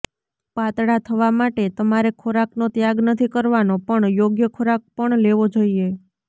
પાતળા થવા માટે તમારે ખોરાકનો ત્યાગ નથી કરવાનો પણ યોગ્ય ખોરાક પણ લેવો જોઈએ